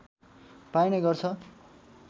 पाइने गर्छ